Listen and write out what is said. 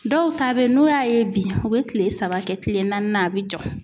Dɔw ta bɛ n'u y'a ye bi u bɛ kile saba kɛ kile naaninan a bɛ jɔ.